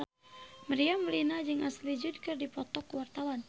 Meriam Bellina jeung Ashley Judd keur dipoto ku wartawan